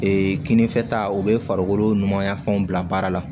kinifɛta o bɛ farikolo numanya fɛnw bila baara la